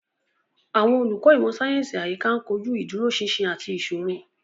Àwọn olùkọ́ ìmọ̀ sáyẹ́sì àyíká ń kojú ìdúróṣinṣin àti ìṣòro.